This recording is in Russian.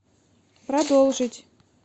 продолжить